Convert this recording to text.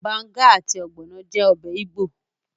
Banga àti ogbono jẹ́ ọbẹ̀ igbo.